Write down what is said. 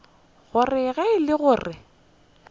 gore ge e le gore